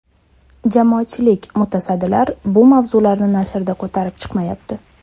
Jamoatchilik, mutasaddilar bu mavzularni nashrlarda ko‘tarib chiqmayapti.